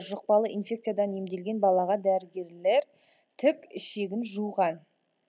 жұқпалы инфекциядан емделген балаға дәрігерлер тік ішегін жуған